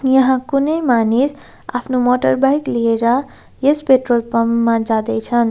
यहाँ कुनै मानिस आफ्नो मोटरबाइक लिएर यस पेट्रोल पम्प मा जाँदैछन्।